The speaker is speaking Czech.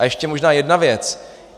A ještě možná jedna věc.